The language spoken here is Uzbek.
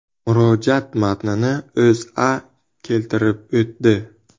Murojaat matnini O‘zA keltirib o‘tdi .